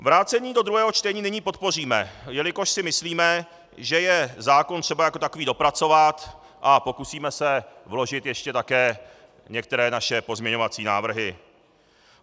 Vrácení do druhého čtení nyní podpoříme, jelikož si myslíme, že je zákon třeba jako takový dopracovat, a pokusíme se vložit ještě také některé naše pozměňovací návrhy.